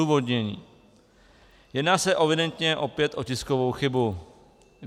Odůvodnění: Jedná se evidentně opět o tiskovou chybu.